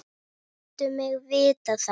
Láttu mig vita það.